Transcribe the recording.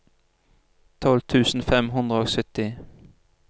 tolv tusen fem hundre og sytti